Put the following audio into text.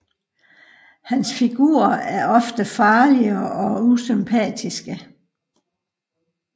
Hans figurer er ofte farlige og usympatiske